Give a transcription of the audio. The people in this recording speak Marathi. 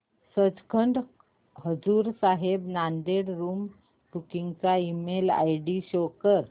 सचखंड हजूर साहिब नांदेड़ रूम बुकिंग चा ईमेल आयडी शो कर